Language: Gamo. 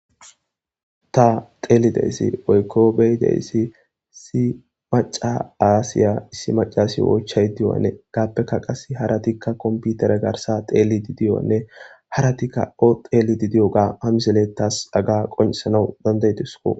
ta xeelideyssi woykko beydeyssi si maca aasiya issi macasi oychay diyoanne gaappeka qas haratikka komputera garsa xeelidi diyonne haratikka o xeelidi diyoga hamiseletas aga qoncesanau dandaytisku